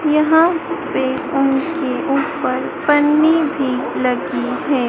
यहां पे उनके ऊपर पन्नी भी लगी है।